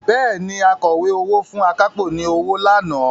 Bẹ́ẹ̀ni, Akọ̀wé owó fún akápò ní owó lánàá